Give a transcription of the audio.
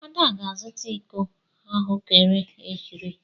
Ada ga-azụta iko ahụekere iri.